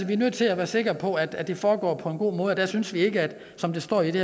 vi er nødt til at være sikre på at det foregår på en god måde og der synes vi ikke som der står i det